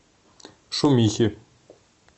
шумихи